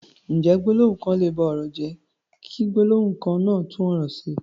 Ǹjẹ́ gbólóhùn kan lè ba ọ̀rọ̀ jẹ́, kí gbólóhùn kan náà tún ọ̀rọ̀ ṣe?